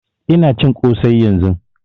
Ina cin kosai yanzun